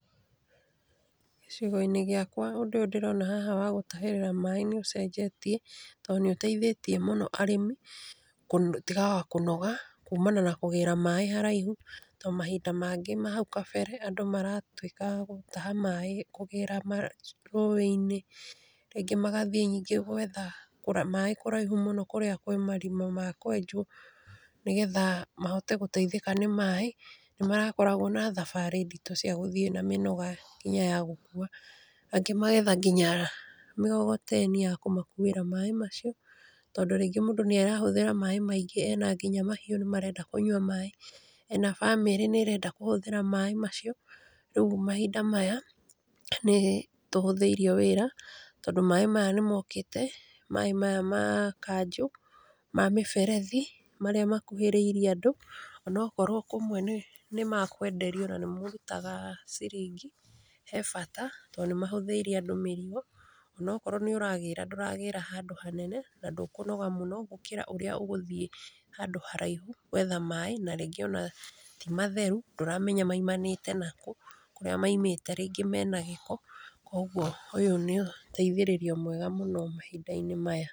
Gĩcigo-inĩ gĩakwa ũndũ ũyũ ndĩrona wa gũtahĩrĩra maĩ nĩ ũcenjetie, tondũ nĩ ũteithĩtie mũno arĩmi, magatuĩka a kũaga kũnoga, kumana na kũgĩra maĩ haraihu, tondũ mahinda mangĩ ma nahau kabere andũ maratuĩkaga a gũtaha maĩ na kũgĩra rũĩ-inĩ. Rĩngĩ magathiĩ gwetha maĩ kũraihu mũno kũrĩa kwĩ marima ma kwenjwo, nĩgetha mahote gũteithĩka nĩ maĩ. Nĩ marakoragwo na thabarĩ nditũ cia gũthiĩ na mĩnoga nginya ya gũkuwa. Angĩ magetha nginya mĩgogoteni ya kũmakuwĩra maĩ macio. Tondũ rĩngĩ mũndũ nĩ arahũthĩra maĩ maingĩ. Ena nginya mahiũ na nĩ marenda kũnyua maĩ, ena bamĩrĩ nĩ ĩrenda kũhũthĩra maĩ macio. Rĩũ mahinda maya, nĩ tũhũthĩirio wĩra, tondũ maĩ maya nĩ mokĩte, maĩ maya ma kanjũ, ma mĩberethi, marĩa makuhĩrĩirie andũ onokorwo kũmwe nĩ mekwenderio na nĩ mũrutaga ciringi, he bata tondũ nĩ mahũthĩirie andũ mĩrigo. Onakorwo nĩ ũragĩra, ndũragĩra handũ hanene na ndũkũnoga mũno gũkĩra ũrĩa ũngĩthiĩ handũ haraihu gwetha maĩ, na rĩngĩ ona ti matheru, ndũramenya maimanĩte nakũ, kũrĩa maimĩte rĩngĩ mena gĩko. Koguo ũyũ nĩ ũteithĩrĩrio mwega mũno mahinda-inĩ maya.